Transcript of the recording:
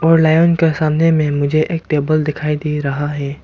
और लायन के सामने में मुझे एक टेबल दिखाई दे रहा है।